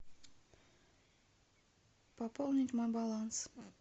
пополнить мой баланс